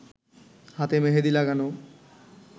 হাতে মেহেদি লাগানো